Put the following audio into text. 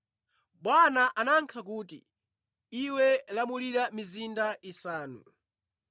“Bwana anayankha kuti, ‘Iwe lamulira mizinda isanu.’